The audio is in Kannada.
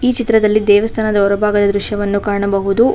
ಈ ಚಿತ್ರದಲ್ಲಿ ದೇವಸ್ಥಾನದ ಹೊರಭಾಗದ ದೃಶ್ಯವನ್ನು ಕಾಣಬಹುದು.